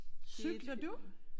Cykler du?